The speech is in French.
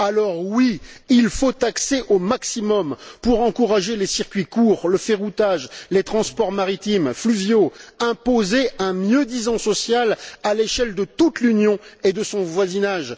Alors oui, il faut taxer au maximum pour encourager les circuits courts, le ferroutage, les transports maritimes, fluviaux, imposer un mieux disant social à l'échelle de toute l'Union et de son voisinage.